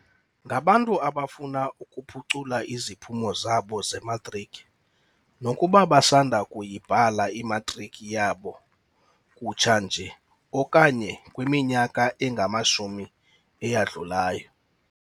Ngabantu abafuna ukuphucula iziphumo zabo zematriki, nokuba basanda kuyibhala imatriki yabo kutsha nje okanye kwiminyaka engamashumi eyadlulayo.